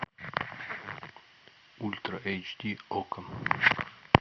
ультра эйч ди окко